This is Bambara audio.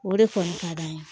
O de kɔni ka d'an ye